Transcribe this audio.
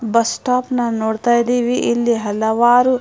bus stop ನ್ನ ನೋಡ್ತಾಯಿದೀವಿ ಇಲ್ಲಿ ಹಲವಾರು --